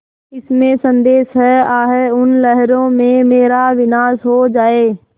इसमें संदेह है आह उन लहरों में मेरा विनाश हो जाए